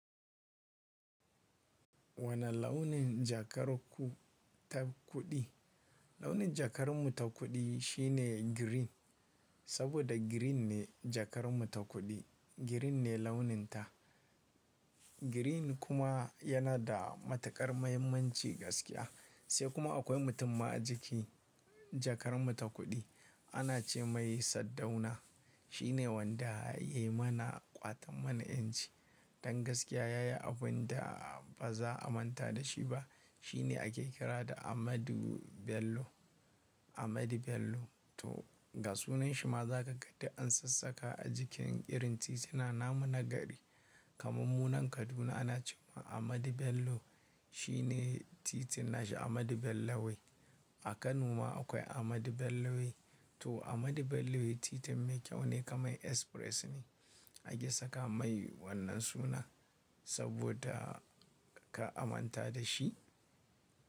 Wani launin jakar ku ta kuɗi? Launin jakar mu ta kuɗi shine green. Saboda green ne jakar mu ta kuɗi, green ne launin ta. Green kuma yana da matuƙar muhimmanci gaskiya. Sai kuma akwai mutum ma a jiki jakar mu ta kuɗi ana ce mai Saddauna. Shi ne wanda ya yi mana ƙwaton mana 'yanci. Dan gaskiya ya yi abin da ba za a manta da shi ba. Shi ne ake kira da Amadu Bello. Amadu Bello. To ga sunan shi ma za ka ga duk an sassaka a jikin irin titina namu na gari. Kaman munan Kaduna ana ce wa Amadu Bello. Shi ne titin na shi Amadu Bello Way. A Kano ma akwai Amadu Bello Way. To Amadu Bello Way titin mai kyau ne kamar express ne ake saka mai wannan sunan saboda ka amanta da shi.